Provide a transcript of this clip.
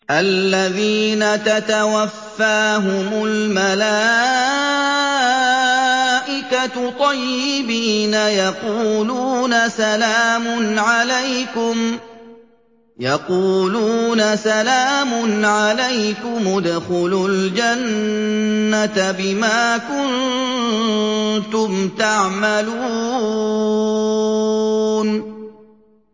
الَّذِينَ تَتَوَفَّاهُمُ الْمَلَائِكَةُ طَيِّبِينَ ۙ يَقُولُونَ سَلَامٌ عَلَيْكُمُ ادْخُلُوا الْجَنَّةَ بِمَا كُنتُمْ تَعْمَلُونَ